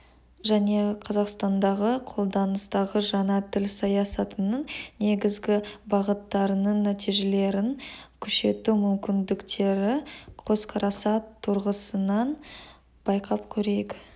және қазақстандағы қолданыстағы жаңа тіл саясатының негізгі бағыттарының нәтижелерін күшейту мүмкіндіктері көзқарасы тұрғысынан байқап көрейік